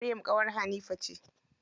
Maryam ƙawar Hanifa ce.